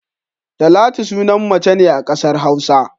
Talatu sunan mace ne a kasar Hausa.